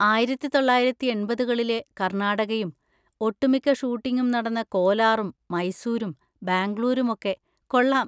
ആയിരത്തി തൊള്ളായിരത്തി എൺപത്കളിലെ കർണാടകയും ഒട്ടുമിക്ക ഷൂട്ടിങ്ങും നടന്ന കോലാറും മൈസൂരും ബാംഗ്ളൂരും ഒക്കെ കൊള്ളാം.